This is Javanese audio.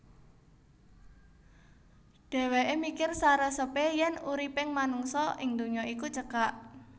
Dhèwèké mikir saresepé yèn uriping manungsa ing donya iku cekak